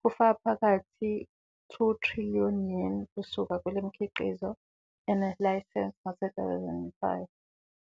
kufaka phakathi 2 trillion Yen kusuka kumikhiqizo enelayisense, ngo-2005.